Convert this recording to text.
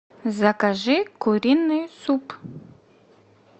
закажи куриный суп